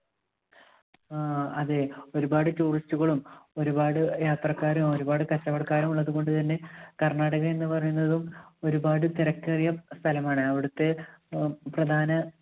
ആ. അതെ ഒരുപാട് tourist കളും ഒരുപാട് യാ~യാത്രക്കാരും ഒരുപാട് കച്ചവടക്കാരും ഉള്ളതുകൊണ്ട് തന്നെ കർണാടക എന്ന് പറയുന്നതും ഒരുപാട് തിരക്കേറിയ സ്ഥലമാണ് അവിടുത്തെ അഹ് പ്രധാന